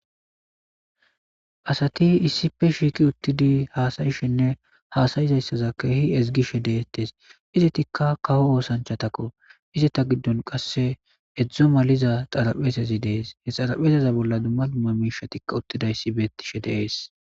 Asati issife shiiqi uttidi haasayishinne haasayizayssaza keehi ezgishe deettes izi tikka kawo oosanchatakko ize ta giddon qasse edzdzo maliza xarapheetezi dees he xarapheseza bolla dumma dumma miishatikka uttidayssi beettishe deees.